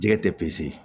Jɛgɛ tɛ pese